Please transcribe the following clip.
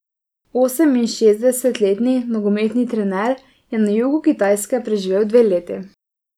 Oseminšestdesetletni nogometni trener je na jugu Kitajske preživel dve leti.